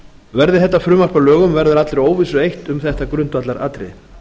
verði þetta frumvarp að lögum verður allri óvissu eytt um þetta grundvallaratriði